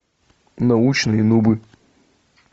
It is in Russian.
научные нубы